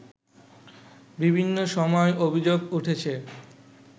বিভিন্ন সময় অভিযোগ উঠেছে